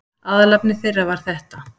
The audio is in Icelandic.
Aðalefni þeirra var þetta